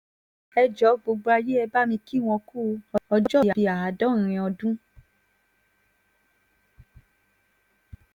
ẹ jọ̀ ọ́ gbogbo ayé ẹ bá mi kí wọ́n ku ọjọ́òbí àádọ́rin ọdún